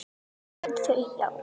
Þau: Já.